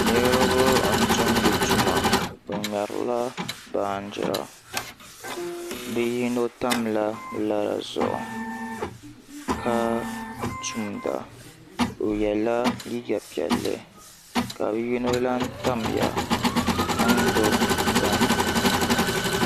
niriba n-tumdi tuma bɛ mɛrila baanjira bɛ yino tamla laa zuɣu ka tumda o yela liiga piɛlli ka bɛ yino lahi tamya n-gbibi bini